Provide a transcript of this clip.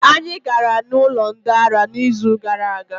Anyị gara n'ụlọ ndị ara n'izuuka gara aga.